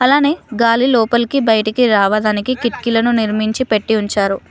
అలానే గాలి లోపలికి బయటికి రావదానికి కిటికీలను నిర్మించి పెట్టీ ఉంచారు